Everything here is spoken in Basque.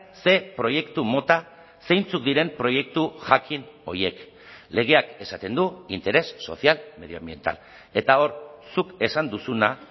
ze proiektu mota zeintzuk diren proiektu jakin horiek legeak esaten du interés social medioambiental eta hor zuk esan duzuna